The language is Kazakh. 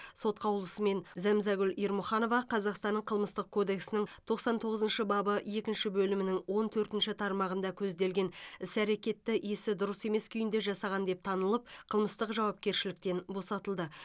сот қаулысымен зәмзагүл ермұханова қазақстанның қылмыстық кодексінің тоқсан тоғызыншы бабы екінші бөлімінің он төртінші тармағында көзделген іс әрекетті есі дұрыс емес күйінде жасаған деп танылып қылмыстық жауапкершіліктен босатылды